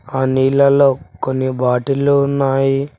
ఆ నీళ్లలో కొన్ని బాటిల్లు ఉన్నాయి.